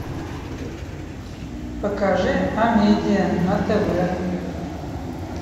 покажи амедиа на тв